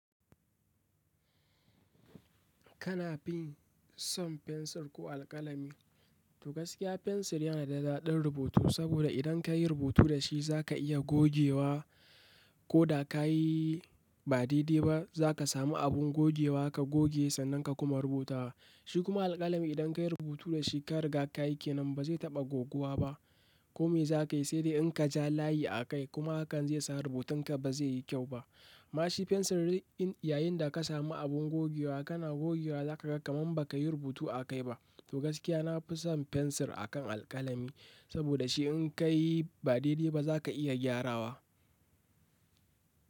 Kana fi son fensir ko alƙalami? To gaskiya fensir yana da ɗaɗin rubutu, saboda idan ka yi rubutu da shi za ka iya gogewa. Ko da ka yi ba daidai ba za ka samu abin gogewa ka goge sannan ka kuma rubuta wa. Shi kuma alƙalami idan ka yi rubutu da shi ka riga ka yi ke nan ba zai taɓa goguwa ba. Ko me za ka yi sai dai in ka ja layi a kai kuma hakan zai sa rubutun ka ba zai yi kyau ba. Amma shi fensiri yayin da ka samu abin gogewa kana gogewa za ka ga kaman ba ka yi rubutu a kai ba. To gaskiya na fi son fensir a kan alƙalami saboda shi in ka yi ba daidai ba za ka iya gyarawa.